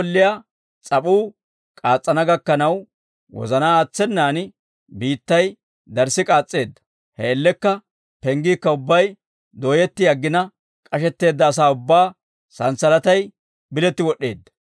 K'asho golliyaa s'ap'uu k'aas's'ana gakkanaw wozanaa aatsenan biittay darssi k'aas's'eedda; he man''iyaan penggiikka ubbay dooyetti aggina, k'ashetteedda asaa ubbaa santsalatay biletti wod'd'eedda.